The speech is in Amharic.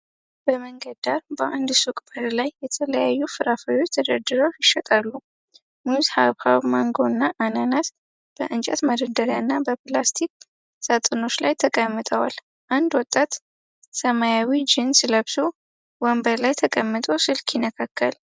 በመንገድ ዳር በአንድ ሱቅ በር ላይ የተለያዩ ፍራፍሬዎች ተደርድረው ይሸጣሉ። ሙዝ፣ ሐብሐብ፣ ማንጎ እና አናናስ በእንጨት መደርደሪያና በፕላስቲክ ሳጥኖች ላይ ተቀምጠዋል። አንድ ወጣት ሰማያዊ ጂንስ ለብሶ ወንበር ላይ ተቀምጦ ስልክ ይነካካል።